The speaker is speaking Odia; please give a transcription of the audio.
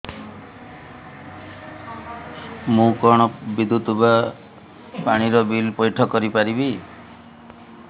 ମୁ କଣ ବିଦ୍ୟୁତ ବା ପାଣି ର ବିଲ ପଇଠ କରି ପାରିବି